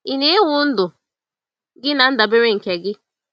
Ị na-ewu ndụ gị na ndabere nke gị?